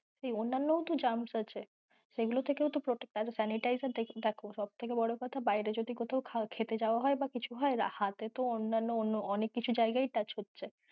সেই অন্যান্যও তো germs আছে সেইগুলো থেকেও তো protect আর sanitizer থাকলো সব থেকে বড় কোথা বাইরে যখন কোথাও খেতে যাওয়া হয় বা কিছু হয় হাতে তো অন্যান্য অনেক কিছু জায়গায় touch হচ্ছে